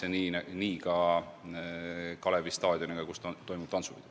Ja nii on ka Kalevi staadioniga, kus toimub tantsupidu.